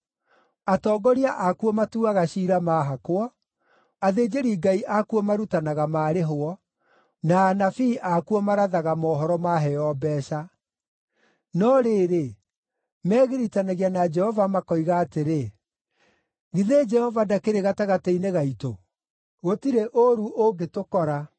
Atongoria akuo matuaga ciira maahakwo, athĩnjĩri-Ngai akuo marutanaga maarĩhwo, na anabii akuo marathaga mohoro maheo mbeeca. No rĩrĩ, megiritanagia na Jehova makoiga atĩrĩ, “Githĩ Jehova ndakĩrĩ gatagatĩ-inĩ gaitũ? Gũtirĩ ũũru ũngĩtũkora.”